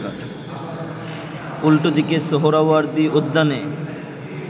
উল্টো দিকে সোহরাওয়ার্দী উদ্যানে